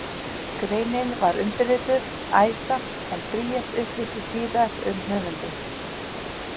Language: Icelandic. Greinin var undirrituð Æsa, en Bríet upplýsti síðar um höfundinn.